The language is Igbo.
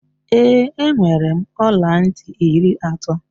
Ee, enwere m ọlantị iri atọ.